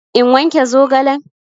In wanke zogalen?